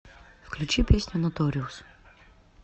включи песню ноториус